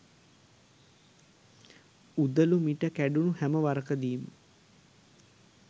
උදළු මිට කැඩුණු හැම වරකදීම